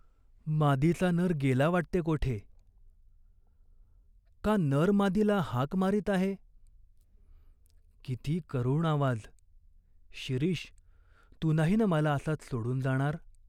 "मादीचा नर गेला वाटते कोठे ?" "का नर मादीला हाक मारीत आहे?" " किती करुण आवाज !" "शिरीष, तू नाही ना मला असाच सोडून जाणार?